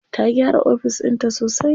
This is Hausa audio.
Ta gyara ofis ɗinta sosai.